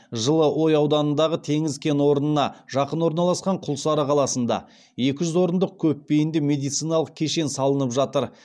жылыой ауданындағы теңіз кен орнына жақын орналасқан құлсары қаласында екі жүз орындық көпбейінді медициналық кешен салынып жатыр